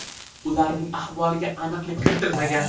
Ularning ahvoliga aniqlik kiritilmagan.